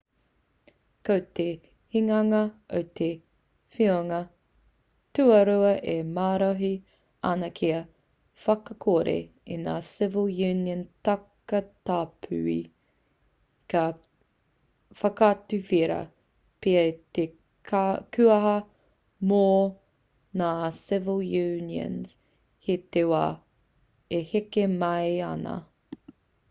ko te hinganga o te whiunga tuarua e marohi ana kia whakakore i ngā civil union takatāpui ka whakatuwhera pea i te kuaha mō ngā civil unions hei te wā e heke mai ana